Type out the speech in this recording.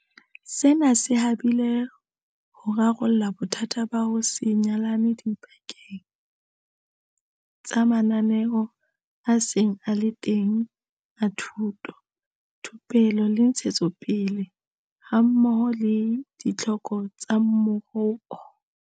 Sena se habile ho rarolla bothata ba ho se nyalane dipakeng tsa mananeo a seng a le teng a thuto, thupelo le ntshetsopele hammoho le ditlhoko tsa moruo.